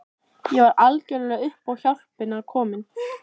Ég var algjörlega upp á hjálpina komin.